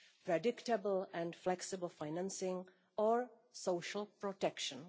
predictable and flexible financing and social protection.